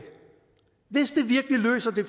virkelig løser det